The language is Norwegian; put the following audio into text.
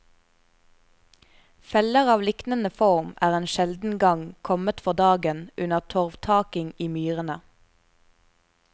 Feller av liknende form er en sjelden gang kommet for dagen under torvtaking i myrene.